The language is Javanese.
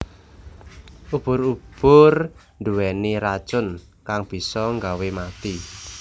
Ubur ubur nduweni racun kang bisa nggawe mati